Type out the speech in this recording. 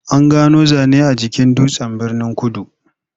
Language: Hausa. An gano zane a jikin dutsen Birnin-kudu.